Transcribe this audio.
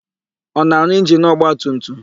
Ọ na-arụ injinu ọgbatumtum?